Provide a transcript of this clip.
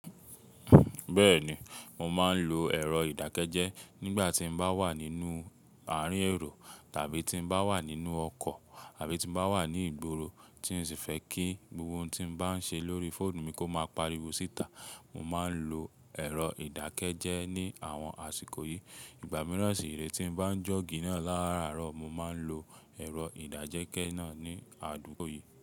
Bẹ́ẹ̀ni, mo máa ń lo ẹ̀rọ ìdákẹ́jẹ́ nígbà tí n bá wà nínú àárín èrò tàbí tí n bá wà nínú ọkọ̀ àbí tí n bá wà ní ìgboro tí n sì fẹ́ kí gbogbo ohun tí n bá ń ṣe lórí fóònù mi kó máa pariwo síta. Mo máa ń lo ẹ̀rọ ìdákẹ́jẹ́ ní àwọn àsìkò yìí. Ìgbà mìíràn sì re tí n bá ń jọ́gì náà láraárọ̀, mo máa ń lo ẹ̀rọ ìdájẹ́kẹ́ẹ́ náà ní àdúgbò yìí.